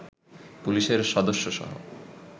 পুলিশের সদস্যসহ